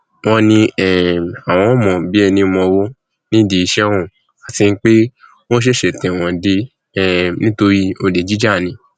wọn um láwọn mọ ọn bíi ẹní mowó nídìí iṣẹ ọhún àti pé ó ṣẹṣẹ tẹwọn dé um nítorí olè jíjà ni